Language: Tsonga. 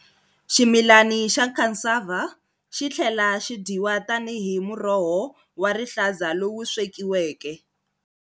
Ximilani xa cassava xitlhela xidyiwa tani hi muroho wa rihlaza lowu swekiweke.